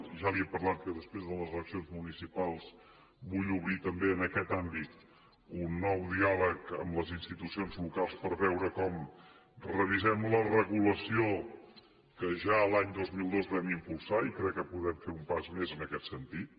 ja li he parlat que després de les eleccions municipals vull obrir també en aquest àmbit un nou diàleg amb les institucions locals per veure com revisem la regulació que ja l’any dos mil dos vam impulsar i crec que podem fer un pas més en aquest sentit